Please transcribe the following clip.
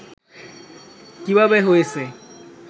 কিভাবে হয়েছে